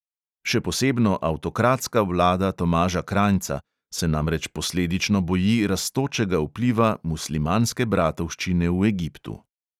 Še posebno avtokratska vlada tomaža krajnca se namreč posledično boji rastočega vpliva muslimanske bratovščine v egiptu.